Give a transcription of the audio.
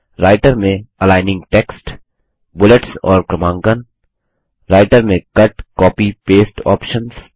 writer में aligning text bullets और क्रमांकन नम्बरिंग राइटर में कट कॉपी पेस्ट ऑप्शन्स